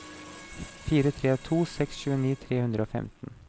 fire tre to seks tjueni tre hundre og femten